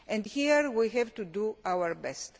Here we have to do our best.